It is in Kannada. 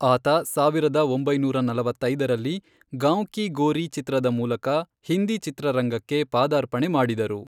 ಆತ ಸಾವಿರದ ಒಂಬೈನೂರ ನಲವತ್ತೈದರಲ್ಲಿ 'ಗಾಂವ್ ಕೀ ಗೋರಿ' ಚಿತ್ರದ ಮೂಲಕ ಹಿಂದಿ ಚಿತ್ರರಂಗಕ್ಕೆ ಪಾದಾರ್ಪಣೆ ಮಾಡಿದರು.